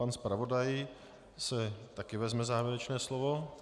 Pan zpravodaj si také vezme závěrečné slovo.